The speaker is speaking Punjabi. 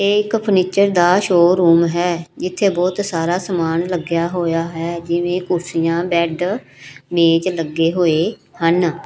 ਇਹ ਇੱਕ ਫਰਨੀਚਰ ਦਾ ਸ਼ੋਰੂਮ ਹੈ ਇਥੇ ਬਹੁਤ ਸਾਰਾ ਸਮਾਨ ਲੱਗਿਆ ਹੋਇਆ ਹੈ ਜਿਵੇਂ ਕੁਰਸੀਆਂ ਬੈਡ ਮੇਜ ਲੱਗੇ ਹੋਏ ਹਨ।